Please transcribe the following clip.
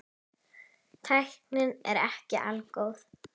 Tæknin er ekki algóð.